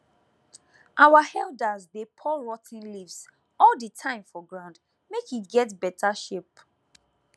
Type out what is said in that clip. our elders dey pour rot ten leaves all the time for ground make e get better shape